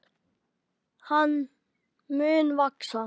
Hann mun vaxa.